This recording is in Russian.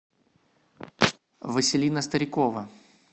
василина старикова